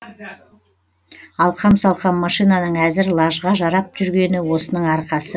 алқам салқам машинаның әзір лажға жарап жүргені осының арқасы